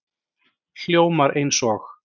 Hljómar eins og